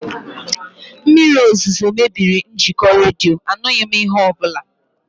Mmiri ozuzo mebiri njikọ redio, anụghị m ihe ọbụla